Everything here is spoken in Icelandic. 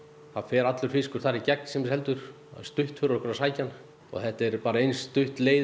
það fer allur fiskur þar í gegn sem er seldur stutt fyrir okkur að sækja hann og þetta er bara eins stutt leið